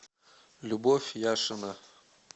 любовь яшина